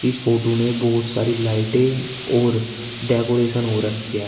इस फोटो में बहुत सारी लाइटें और डेकोरेशन हो रखा है।